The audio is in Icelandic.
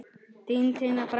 Þín Tinna frænka.